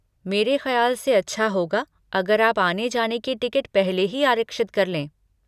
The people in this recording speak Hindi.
मेरे खयाल से अच्छा होगा अगर आप आने जाने की टिकट पहले ही आरक्षित कर लें।